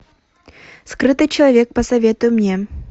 скрытый человек посоветуй мне